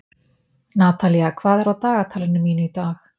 Natalía, hvað er á dagatalinu mínu í dag?